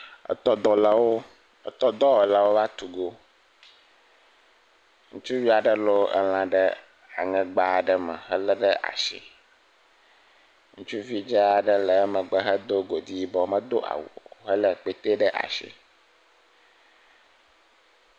Tɔdɔwɔlawo va tu go ŋutsuvi aɖe lɔ lã ɖe aŋegba aɖe me hele ɖe asi ŋutsuvi dzaa aɖe le eme hedo godi yibɔ medo awu o hele akpetɛ ɖe asi